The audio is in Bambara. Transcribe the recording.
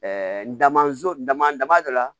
n damaso dama dama dɔ la